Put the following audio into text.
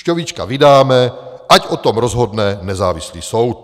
Šťovíčka vydáme, ať o tom rozhodne nezávislý soud.